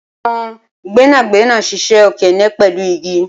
awọn gbẹnagbẹna ṣiṣẹ okeene pẹlu igi